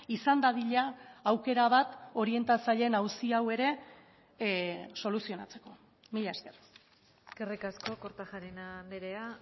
izan dadila aukera bat orientatzaileen auzi hau ere soluzionatzeko mila esker eskerrik asko kortajarena andrea